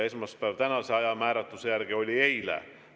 Esmaspäev tänase ajamääratluse järgi oli eile.